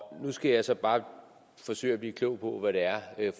nu skal jeg så bare forsøge at blive klog på hvad det er